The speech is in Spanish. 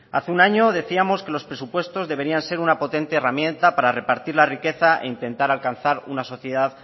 hace un año decíamos que los presupuestos deberían ser una potente herramienta para repartir la riqueza e intentar alcanzar una sociedad